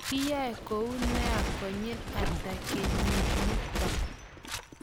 kiyai kou noe konyil ata kenyit nito?